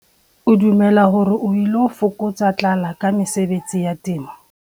O dumela hore o ilo fokotsa tlala ka mesebetsi ya temo.